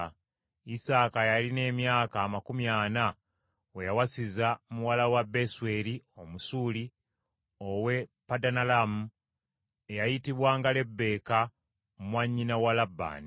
Isaaka yalina emyaka amakumi ana, we yawasiza muwala wa Besweri Omusuuli ow’e Padanalaamu, eyayitibwanga Lebbeeka mwannyina wa Labbaani.